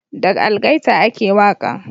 Da algaita a ke waƙan